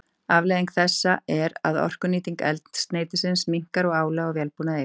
Afleiðing þessa er að orkunýting eldsneytisins minnkar og álag á vélbúnað eykst.